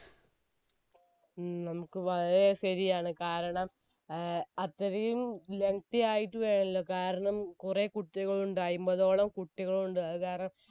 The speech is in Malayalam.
ഉം നമുക്ക് വളരെ ശരിയാണ് കാരണം അത്രയും lengthy വേണല്ലോ കൊറേ കുട്ടികൾ ഉണ്ട് അയിമ്പതോളം കുട്ടികൾ ഉണ്ട് അത് കാരണം